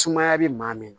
Sumaya be maa min na